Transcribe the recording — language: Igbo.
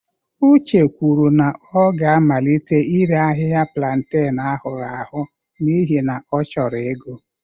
Uche kwuru na ọ ga-amalite ire ahịhịa planten ahụrụ ahụ n'ihi na ọ chọrọ ego